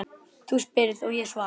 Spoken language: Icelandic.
Þú spyrð og ég svara.